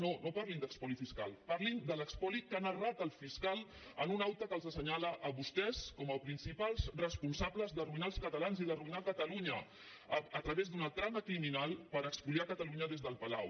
no no parlin d’espoli fiscal parlin de l’espoli que ha narrat el fiscal en un acte que els asse·nyala a vostès com a principals responsables d’arruïnar els catalans i d’arruïnar catalunya a través d’una trama criminal per espoliar catalunya des del palau